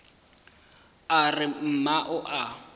a re mma o a